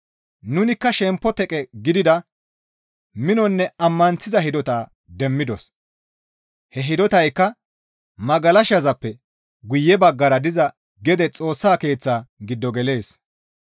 Nunikka shempo teqe gidida minonne ammanththiza hidota demmidos; he hidotaykka magalashazappe guye baggara diza gede Xoossa Keeththaa gido gelees.